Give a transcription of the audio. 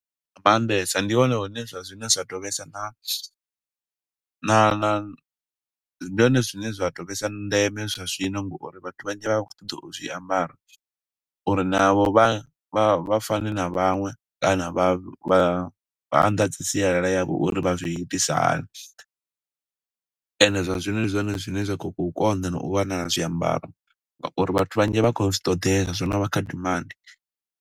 Maanḓesa, ndi hone hone zwa zwino zwa to vhesa na, na, na, ndi hone zwine zwa to vhesa ndeme zwa zwino, nga uri vhathu vhanzhi vha khou ṱoḓa u zwiambara. Uri navho vha vha fane na vhaṅwe, kana vha vha vha anḓadze sialala yavho uri vha zwi itisa hani. Ende zwa zwino ndi zwone zwine zwa khou konḓa u wanala zwiambaro nga uri vhathu vhanzhi vha khou zwi ṱoḓela. Zwo no vha kha demand.